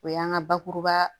O y'an ka bakuruba